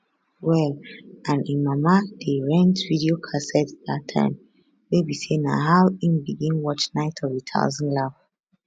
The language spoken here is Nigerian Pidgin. well and im mama dey rent video casette dat time wey be say na how im begin watch night of a thousand life